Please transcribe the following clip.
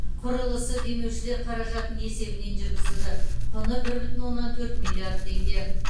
құрылысы демеушілер қаражатының есебінен жүргізілді құны бір бүтін оннан төрт миллиард теңге